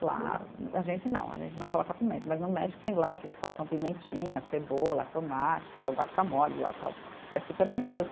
Claro, a gente não, a gente não coloca pimenta, mas no México tem lá que eles colocam pimentinha, cebola, tomate, que é o guacamole lá, tal, que é super delicioso.